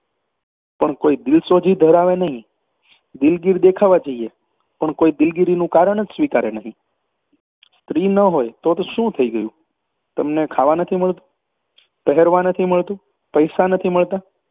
પણ કોઈ દિલસોજી ધરાવે નહીં. દિલગીર દેખાવા જઈએ, પણ કોઈ દિલગીરીનું કારણ જ સ્વીકારે નહીં સ્ત્રી ન હોય તો તો થઈ શું ગયું શું તમને ખાવા નથી મળતું પહેરવા નથી મળતું પૈસા નથી મળતા